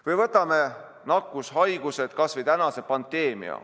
Või võtame nakkushaigused, kas või tänase pandeemia.